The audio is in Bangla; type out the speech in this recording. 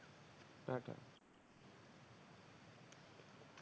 tata